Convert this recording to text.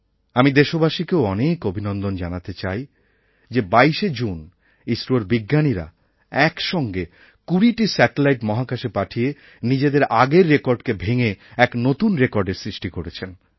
আমি দেশবাসীকেও অনেক অনেক অভিনন্দন জানাতে চাই যে ২২শে জুন ইসরোর বিজ্ঞানীরা একসঙ্গে ২০টি স্যাটেলাইট মহাকাশে পাঠিয়ে নিজেদের আগের রেকর্ডকে ভেঙে এক নতুন রেকর্ডের সৃষ্টি করেছেন